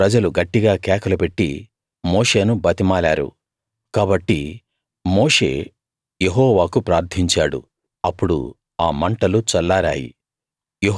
అప్పుడు ప్రజలు గట్టిగా కేకలు పెట్టి మోషేను బతిమాలారు కాబట్టి మోషే యెహోవాకు ప్రార్ధించాడు అప్పుడు ఆ మంటలు చల్లారాయి